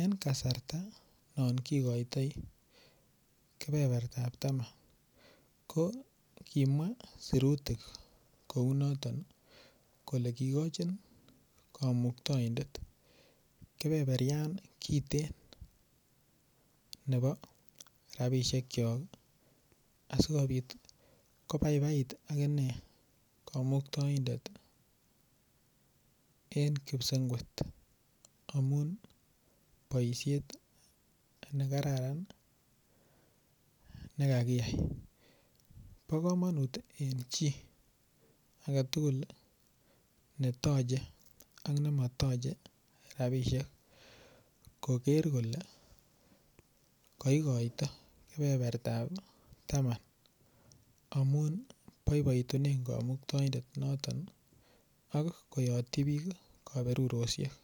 eng kasarta non kikoitoi kebebertap taman ko kimwa serutik kounoton kole kikochin komuktoindet kepeperian kiten nebo rapishek chok asikobit kobaibait akine komuktoindet eng kipasengwet amun boishet nekararan nekakiyai bo komonut eng chi age tukul netochei ak nematochei ropishek koker kole kakikoito kebebertap taman amun boiboitu komuktoindet noton ak koyotchi biik kaberuroshek.